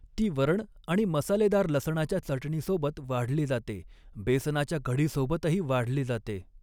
ती वरण आणि मसालेदार लसणाच्या चटणीसोबत वाढली जाते, बेसनाच्या कढीसोबतही वाढली जाते.